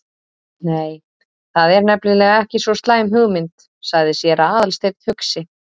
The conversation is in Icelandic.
Nei, það er nefnilega ekki svo slæm hugmynd- sagði séra Aðalsteinn hugsi.